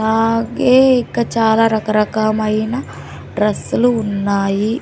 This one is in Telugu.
ఆగే ఇక చాలా రకరకమైన డ్రస్సులు ఉన్నాయి.